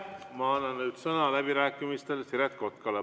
Ma annan nüüd sõna läbirääkimistel Siret Kotkale.